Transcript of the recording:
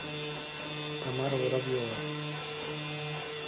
тамара воробьева